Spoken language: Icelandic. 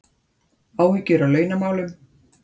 Áhyggjur af launamálum